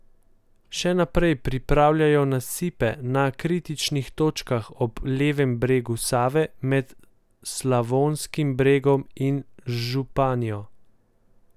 Še naprej popravljajo nasipe na kritičnih točkah ob levem bregu Save med Slavonskim Brodom in Županjo.